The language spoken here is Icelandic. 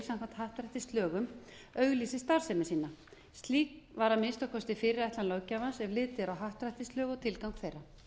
samkvæmt happdrættislögum auglýsi starfsemi sína slík var að minnsta kosti fyrirætlan löggjafans ef litið er á happdrættislög og tilgang þeirra